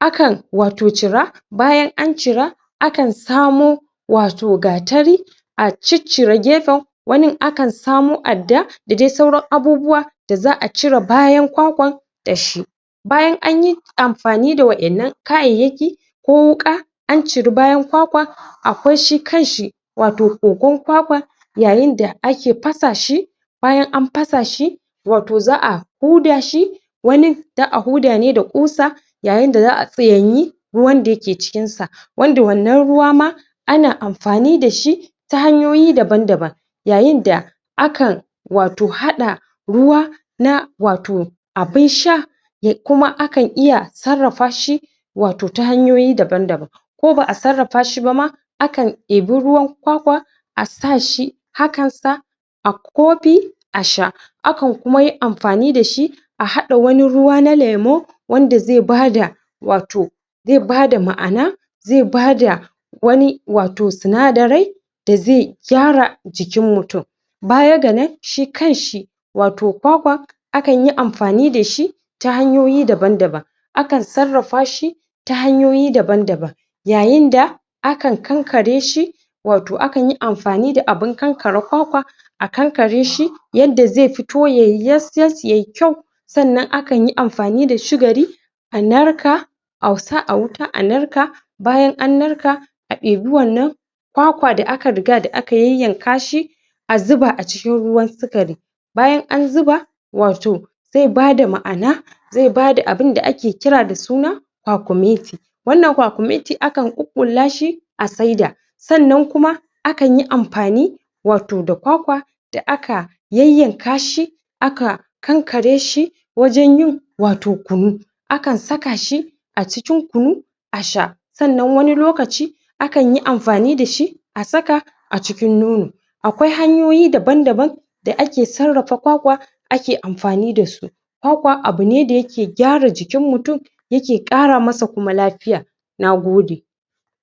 akan wato cira bayan an cira akan samo wato gatari a ciccire gefen wanin akan samo adda dade sauran abubuwa da za'a cire bayan kwakwan dashi bayan anyi amfani da waƴannan kayayyaki ko wuƙa an ciri bayan kwakwa akwai shi kanshi wato kogon kwakwa yayinda ake fasa shi bayan an fasa shi wato za'a huda shi wanin za'a huda ne da kusa yayinda za'a tsiyanyi ruwanda ke cikinsa wanda wannan ruwa ma ana amfani dashi ta hanyoyi daban daban yayinda akan wato hada ruwa na wato abin sha ya kuma akan iya sarrafa shi wato ta hanyoyi daban daban ko ba 'a sarrafa shi bama akan eabi ruwan kwakwa asashi hakan sa akofi asha akan kuma anfani dashi ahada wani ruwa na lemo wanda ze bada wato ze bada ma'ana ze bada wani wato sinadarai deze gyara jikin mutum baya ga nan shi kanshi wato kwakwan akanyi amfani dashi ta hanyoyi daban daban akan sarrafa shi ta hanyoyi daban daban yayinda akan kankare shi wato akan yi amfanida abun kankare kwakwa akankareshi yanda ze fito yayi yas yas yayi kyau sa'anan akan yi amfani da shugari anarka au sa awuta a narka bayan an narka a eabi wannan kwakwa da aka rigada an yanka shi azzuba acikin ruwan sikari bayan an zuba wato ze bada ma'ana zebada abunda ake kirada suna kwakumeti wannan kwakumeti akan ƙuƙullaace asaida sa'anan kuma akanyi amfani wato da kwakwa da aka yayyanka shi aka ƙanƙare shi wajan yin wato kunu akan sakashi acikin kunu asha sa'anan wani lokaci akanyi amfani dashi asaka acikin nono akwai hanyoyi daban daban da ake sarrafa kwakwa ake amfani dasu kwakwa abu ne dayake gyara jikin mutum yake kara masa kuma lafiya nagode.